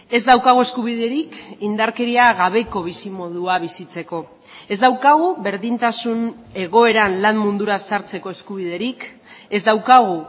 ez daukagu eskubiderik indarkeria gabeko bizimodua bizitzeko ez daukagu berdintasun egoeran lan mundura sartzeko eskubiderik ez daukagu